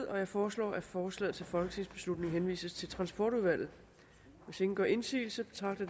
jeg foreslår at forslaget til folketingsbeslutning henvises til transportudvalget hvis ingen gør indsigelse betragter